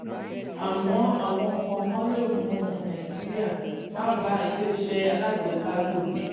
àmọ́ àwọn nǹkankan lè mú ọmọ nàìjíríà máa bá iléeṣẹ́ alágbèéká lọ.